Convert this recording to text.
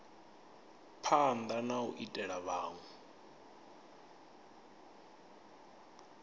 phanda na u ita vhunwe